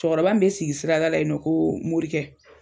Cɛkɔrɔba min be sigi sirada la yen nɔ koo Morikɛ